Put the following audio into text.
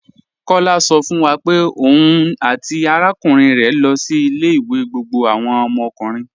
Kọ̀lá sọ̀ fún wa pé ọ̀un àti arákùnrin rẹ lọ sí ilẹ̀-ìwé gbogbo àwọn ọmọkùnrin.